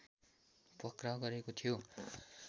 पक्राउ गरेको थियो